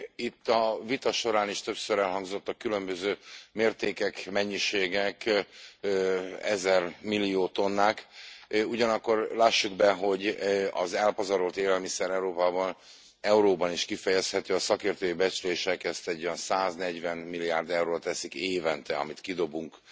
Itt a vita során is többször elhangzottak különböző mértékek, mennyiségek, ezermillió tonnák, ugyanakkor lássuk be, hogy az elpazarolt élelmiszer Európában euróban is kifejezhető, a szakértői becslések ezt egy olyan 140 milliárd euróra teszik évente, amit kidobunk